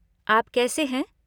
आप कैसे हैं?